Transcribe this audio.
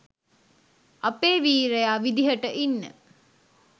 අපේ වීරයා විදිහට ඉන්න